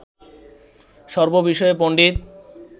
সর্ববিষয়ে পণ্ডিত